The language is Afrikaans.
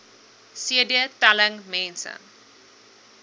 cd telling mense